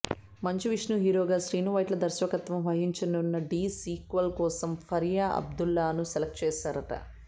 మంచు విష్ణు హీరోగా శ్రీను వైట్ల దర్శకత్వం వహించనున్న ఢీ సీక్వెల్ కోసం ఫరియా అబ్దుల్లాను సెలక్ట్ చేశారట